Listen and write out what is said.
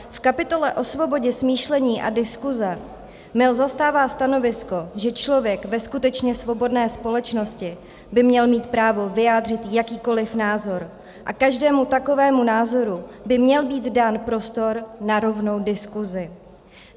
V kapitole o svobodě smýšlení a diskuse Mill zastává stanovisko, že člověk ve skutečně svobodné společnosti by měl mít právo vyjádřit jakýkoli názor a každému takovému názoru by měl být dán prostor na rovnou diskusi.